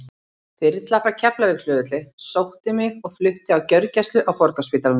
Þyrla frá Keflavíkurflugvelli sótti mig og flutti á gjörgæslu á Borgarspítalanum.